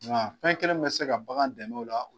fɛn kelen min bɛ se ka bagan dɛmɛ o la